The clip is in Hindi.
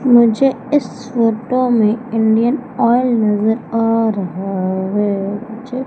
मुझे इस फोटो में इंडियन ऑयल नजर आ रहा है मुझे--